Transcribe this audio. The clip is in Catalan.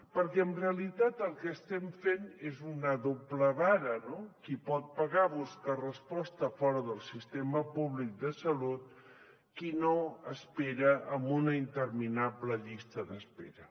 perquè en realitat el que estem fent és una doble vara no qui pot pagar busca resposta fora del sistema públic de salut qui no espera en una interminable llista d’espera